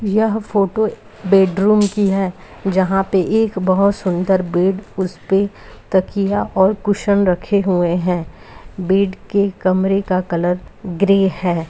यह photo bedroom की है यहाँ पर एक बहुत सूंदर बेड उसपे तकिया और कुशन रखे हुए हैं बेड के कमरे का कलर ग्रे है |